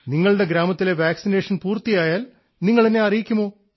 നിങ്ങളുടെ ഗ്രാമത്തിലെ വാക്സിനേഷൻ പൂർത്തിയായാൽ നിങ്ങൾ എന്നെ അറിയിക്കുമോ